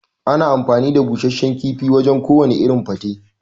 Ana amfani da Bushashshan kifi wajan ko wane irin gwate